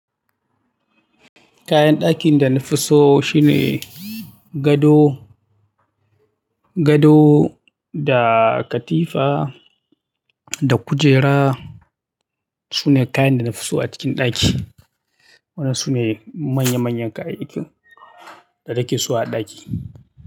Kayan dakin da na fi so shine gado, gado da katifa da kujera. Su ne kayan da na fi so a cikin ɗaki. Wannan su ne manya manyan kayayyakin da nake so a ɗaki.